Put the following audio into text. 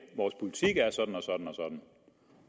siger at sådan og sådan